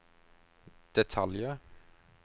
detaljer